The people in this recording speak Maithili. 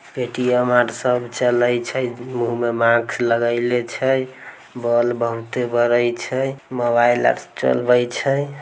पायटीयम आर सब चलय छै मुह में मास्क लगेने छै बोल बहूते बड़े छै मोबाइल आर चलय छै